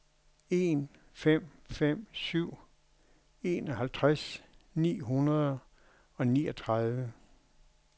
en fem fem syv enoghalvtreds fire hundrede og niogtredive